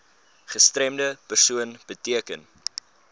gestremde persoon beteken